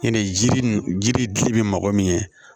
Ɲinɛ jiri ji bɛ dili bɛ mɔgɔ min ye